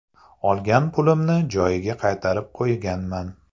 Olgan pulimni joyiga qaytarib qo‘yganman.